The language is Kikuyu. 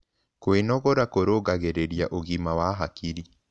Kwĩnogora kũrũngagĩrĩrĩa ũgima wa hakĩrĩ